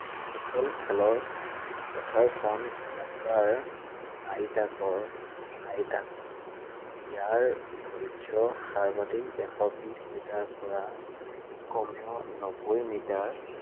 Football খেলৰ, পথাৰখন আকাৰ আয়তাকাৰ, আয়তাকাৰ। ইয়াৰ দৈৰ্ঘ্য সাৰ্বাধিক এশ বিশ মিটাৰৰ পৰা কমেও নব্বৈ মিটাৰ